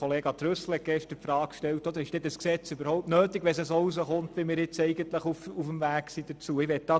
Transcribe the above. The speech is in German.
Kollege Trüssel hat die Frage aufgeworfen, ob dieses Gesetz überhaupt nötig sei, wenn es so herauskommt, wie wir es nun in die Wege geleitet haben.